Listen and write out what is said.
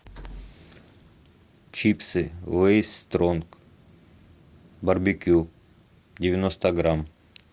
чипсы лейс стронг барбекю девяносто грамм